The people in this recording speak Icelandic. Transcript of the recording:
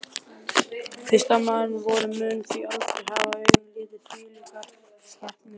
Listamaður vor mun því aldrei hafa augum litið þvílíkar skepnur.